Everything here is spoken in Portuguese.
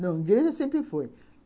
Não, de grega sempre foi.